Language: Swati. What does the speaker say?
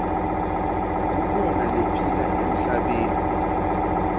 kukhona lephila emhlabeni